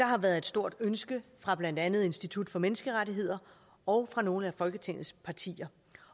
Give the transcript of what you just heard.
har været et stort ønske fra blandt andet institut for menneskerettigheder og fra nogle af folketingets partier